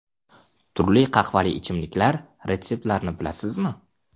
Turli qahvali ichimliklar retseptlarini bilasizmi?.